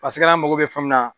Paseke hali an mago bɛ fɛn mun na